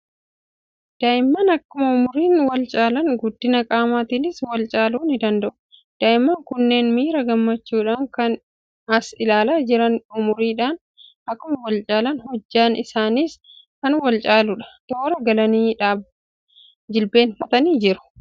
Daa'imman akkuma umuriin wal caalan, guddina qaamaatiinis wal caaluu ni danda'u. Daa'imman kunneen miira gammachuudhaan kan as ilaalaa jiran, umuriidhaan akkuma wal caalan, hojjaan isaaniis kan wal caaludha. Toora galanii jilbeenfatanii jiru.